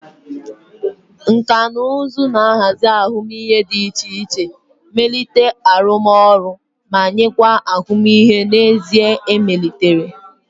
Nkà na ụzụ ga-ahazi ahụmihe dị iche iche, melite arụmọrụ arụ ọrụ, ma nyekwa ahụmihe n'ezie emelitere.